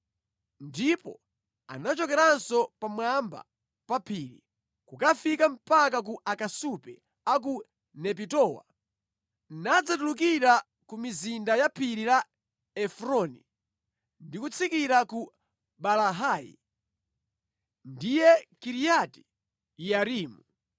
Ndipo anachokeranso pamwamba pa phiri, kukafika mpaka ku akasupe a ku Nepitowa, nadzatulukira ku mizinda ya phiri la Efroni, ndi kutsikira ku Baalahi (ndiye Kiriati Yearimu).